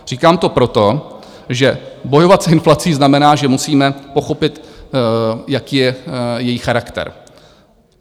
Říkám to proto, že bojovat s inflací znamená, že musíme pochopit, jaký je její charakter.